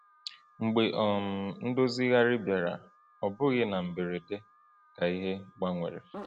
Mgbe um Ndozigharị bịara, ọ bụghị na mberede ka ihe gbanwere.